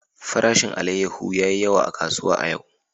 Farashin alayyahu ya yi yawa a kasuwa a yau.